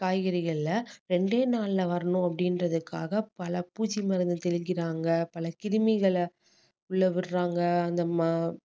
காய்கறிகள ரெண்டே நாள்ல வரணும் அப்படீன்றதுக்காக பல பூச்சி மருந்து தெளிக்கிறாங்க பல கிருமிகளை உள்ள விடுறாங்க அந்தமாதிரி